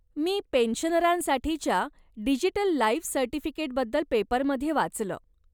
मी पेन्शनरांसाठीच्या digital life सर्टिफिकेटबद्दल पेपरमध्ये वाचलं.